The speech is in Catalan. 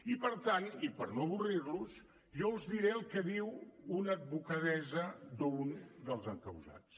i per tant i per no avorrir los jo els diré el que diu una advocadessa d’un dels encausats